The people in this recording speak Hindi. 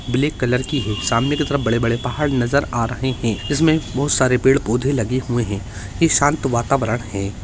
ब्लैक कलर की है सामने की तरफ बड़े बड़े पहाड़ नजर आ रहे हैं जिसमें सारे पेड़ पौधे लगे हुए हैं ये शांत वातावरण है।